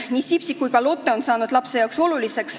Nii Sipsik kui ka Lotte on saanud lapsele oluliseks.